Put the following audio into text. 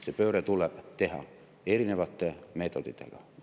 See pööre tuleb teha erinevate meetoditega.